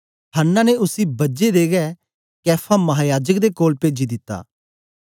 हन्ना ने उसी बजे दे गै कैफा महायाजक दे कोल भेजी दिता